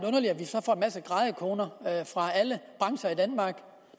så grædekoner fra alle brancher i danmark